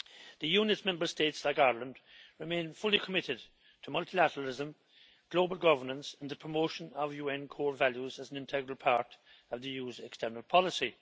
The Union's Member States like Ireland remain fully committed to multilateralism, global governance and the promotion of UN core values as an integral part of the EU's external policy.